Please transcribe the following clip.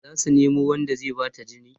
zasu Nemo Wanda zai Bata jini